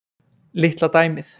Litla dæmið.